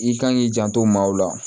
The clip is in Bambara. I kan k'i janto maaw la